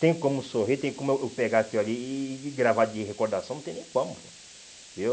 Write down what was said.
Tem como sorrir, tem como eu eu pegar aquilo ali e e e gravar de recordação, não tem nem como, viu?